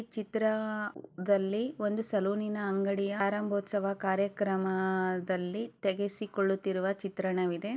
ಚಿತ್ರದಲ್ಲಿ ಒಂದು ಸಲೂನಿನ ಅಂಗಡಿಯ ಪ್ರಾರಂಭೋತ್ಸವ ಕಾರ್ಯಕ್ರಮಾದಲ್ಲಿ ತೆಗೆಸಿಕೊಳ್ಳುತ್ತಿರುವ ಚಿತ್ರಣವಿದೆ.